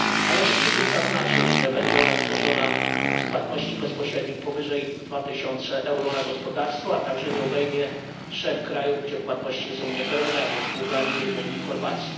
Należy przy tym zaznaczyć, że będzie ona tworzona z płatności bezpośrednich powyżej 2000 euro na gospodarstwo, a także nie obejmie trzech krajów, gdzie płatności są niepełne, a więc Bułgarii, Rumunii i Chorwacji.